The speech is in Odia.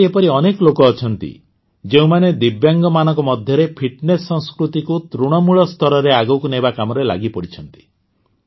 ଆଜି ଏପରି ଅନେକ ଲୋକ ଅଛନ୍ତି ଯେଉଁମାନେ ଦିବ୍ୟାଙ୍ଗମାନଙ୍କ ମଧ୍ୟରେ ଫିଟନେସ୍ ସଂସ୍କୃତିକୁ ତୃଣମୂଳ ସ୍ତରରେ ଆଗକୁ ନେବା କାମରେ ଲାଗିପଡ଼ିଛନ୍ତି